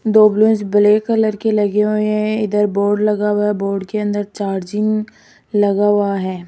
दो balloons black colour के लगे हुए हैं इधर बोर्ड लगा हुआ है बोर्ड के अंदर चार्जिंग लगा हुआ है।